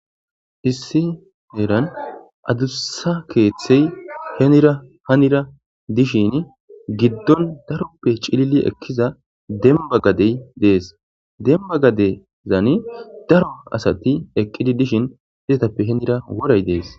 Issi herani adussa kethayi henira hara dishini giddoni cilili ekida demibba gadeyi dessi bemibba gadeni darro asayi eqi utidda geni baggara worayi dessi